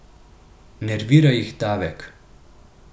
Nervira jih davek.